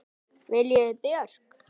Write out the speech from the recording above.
Viljiði Björk?